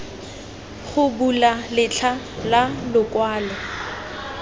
go bula letlha la lokwalo